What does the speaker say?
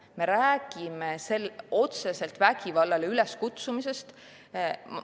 Me räägime otseselt vägivallale üleskutsumisest.